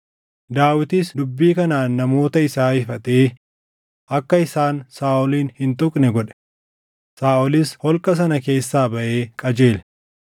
Daawitis dubbii kanaan namoota isaa ifatee akka isaan Saaʼolin hin tuqne godhe. Saaʼolis holqa sana keessaa baʼee qajeele.